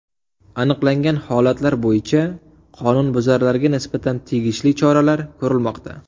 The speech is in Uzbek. Aniqlangan holatlar bo‘yicha qonunbuzarlarga nisbatan tegishli choralar ko‘rilmoqda.